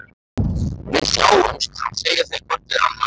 Við sjáumst, segja þau hvort við annað.